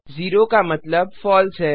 ज़ेरो का मतलब फलसे है